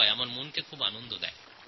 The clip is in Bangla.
এইরকম একটি খবর আমি জানতে পারলাম